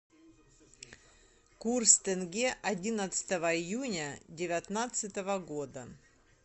курс тенге одиннадцатого июня девятнадцатого года